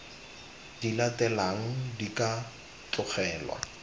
di latelang di ka tlogelwa